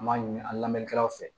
An b'a ɲini an lamɛnnikɛlaw fɛ